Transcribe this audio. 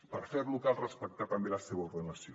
per fer lo cal respectar també la seva ordenació